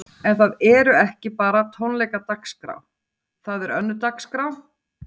En það eru ekki bara tónleikadagskrá, það er önnur dagskrá?